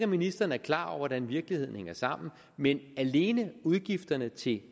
ministeren er klar over hvordan virkeligheden hænger sammen men alene udgifterne til